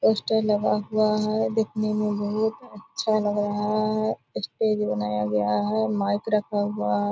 poster लगा हुआ है देखने में बहुत अच्छा लग रहा है | स्टेज बनाया गया है | माइक रखा हुआ है |